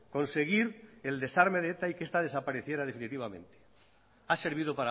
conseguir el desarme de eta y que esta desapareciera definitivamente ha servido